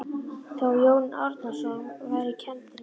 Þó Jón Árnason væri kenndur við